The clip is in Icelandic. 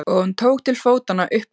Og hún tók til fótanna upp götuna.